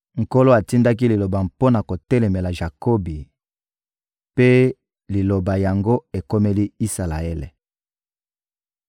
Nkolo atindaki liloba mpo na kotelemela Jakobi, mpe liloba yango ekomeli Isalaele.